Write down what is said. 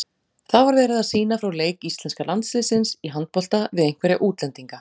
Það var verið að sýna frá leik íslenska landsliðsins í handbolta við einhverja útlendinga.